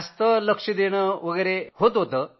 जास्त लक्ष देणं वगैरे होतं